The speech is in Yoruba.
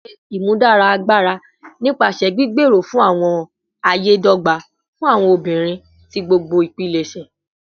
Ṣe imudara agbara nipasẹ gbigbero fun awọn aye dogba fun awọn obinrin ti gbogbo ipilẹṣẹ